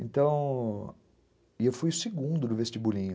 E eu fui o segundo no vestibulinho.